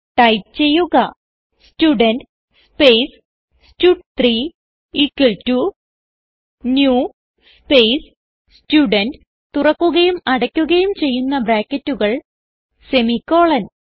type ചെയ്യുക student space stud three equal to new space student തുറക്കുകയും അടക്കുകയും ചെയ്യുന്ന ബ്രാക്കറ്റുകൾ സെമിക്കോളൻ